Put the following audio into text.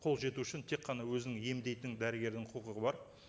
қолы жету үшін тек қана өзінің емдейтін дәрігердің құқығы бар